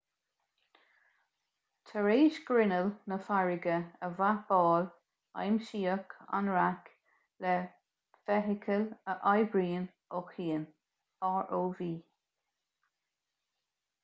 tar éis grinneall na farraige a mhapáil aimsíodh an raic le feithicil a oibríonnn ó chian rov